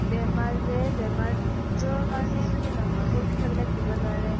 বেমাৰ যে বেমাৰ জ্বৰৰ কাৰণে নহয় পৰীক্ষা বিলাক দিব নোৱাৰে।